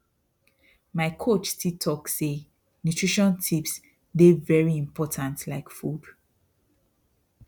my coach still talk say nutrition tips dey very important like food